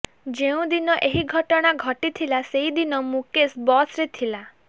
ଯେଉଁଦିନ ଏହି ଘଟଣା ଘଟିଥିଲା ସେଦିନ ମୁକେଶ ବସରେ ଥିଲା